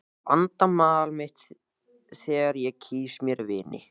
Ég vanda val mitt þegar ég kýs mér vini.